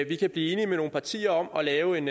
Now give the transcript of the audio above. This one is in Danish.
kan blive enige med nogle partier om at lave en